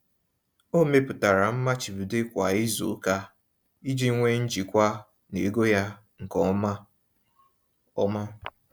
Ọ mepụtara mmachibido kwa izuụka iji nwe njikwa n'ego ya nke ọma. ọma.